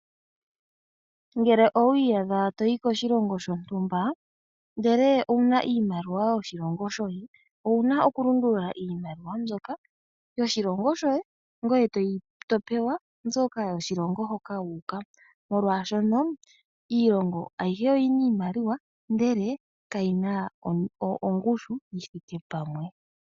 Ngele owi iyadha to yi koshilongo shontumba, ndele owu na iimaliwa yoshilongo shoye owu na okulundulula iimawa mbyoka yoshilongo shoye ngoye to pewa mbyoka yoshilongo hoka wu uka, molwashono iilongo ayihe oyi na iimaliwa, ndele kayi na ongushu yi thike pamwe.